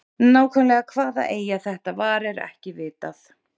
nákvæmlega hvaða eyja þetta var er ekki vitað